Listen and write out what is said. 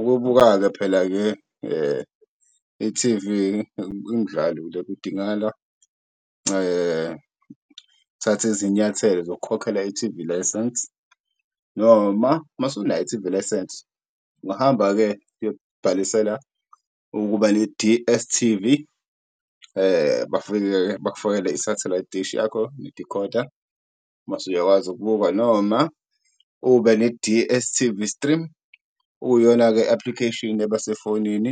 Ukubuka-ke phela-ke i-T_V kudingakala thatha izinyathelo zokukhokhela i-T_V license noma masunayo i-T_V license, ungahamba-ke uyobhalisela ukuba ne-D_S_T_V. Bafike-ke bakufakele i-satelite dish yakho nedikhoda mase uyakwazi ukubuka, noma ube ne-D_S_T_V stream okuyiyona-ke i-application eba sefonini